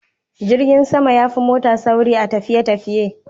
Jirgin sama yafi mota sauri a tafiye tafiye